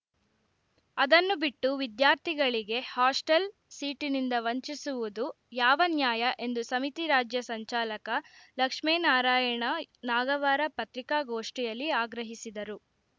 ಅದನ್ನು ಬಿಟ್ಟು ವಿದ್ಯಾರ್ಥಿಗಳಿಗೆ ಹಾಸ್ಟೆಲ್‌ ಸೀಟಿನಿಂದ ವಂಚಿಸುವುದು ಯಾವ ನ್ಯಾಯ ಎಂದು ಸಮಿತಿ ರಾಜ್ಯ ಸಂಚಾಲಕ ಲಕ್ಷ್ಮೇನಾರಾಯಣ ನಾಗವಾರ ಪತ್ರಿಕಾಗೋಷ್ಠಿಯಲ್ಲಿ ಆಗ್ರಹಿಸಿದರು